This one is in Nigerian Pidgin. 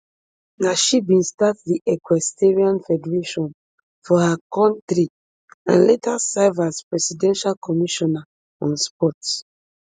na she bin start di equestrian federation for her kontri and later serve as presidential commissioner on sport